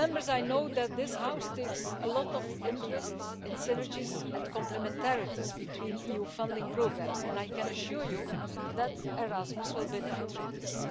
I know that this House takes a lot of interest in synergies and complementarities between EU funding programmes, and I can assure you that Erasmus will benefit from this.